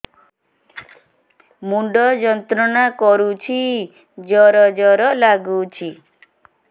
ମୁଣ୍ଡ ଯନ୍ତ୍ରଣା କରୁଛି ଜର ଜର ଲାଗୁଛି